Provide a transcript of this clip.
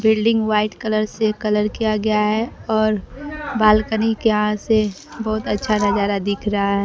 Building white colour से colour किया गया है और बालकनी के यहां से बहुत अच्छा नजारा दिख रहा है।